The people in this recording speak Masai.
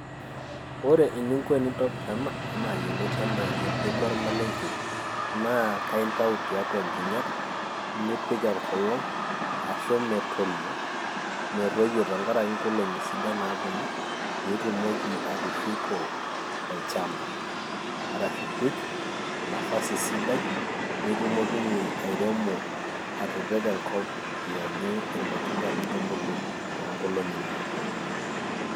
ore eninko enintobir ena, anaa yioloti anaa embeku ormalenkei, naa kaa intau tiatua nkinyat, nipik enkolong' ashu metoyio, metoyio tenkaraki inkolongi sidan naapuonu, pee itumoki atushuko olchampa. arashu pee ipik nafasi sidai, nitumokinye airemo, atipika enkop iyanyu irmatunda too nkolongi naapuonu.